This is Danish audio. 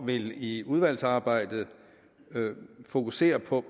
vil i udvalgsarbejdet fokusere på